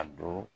A don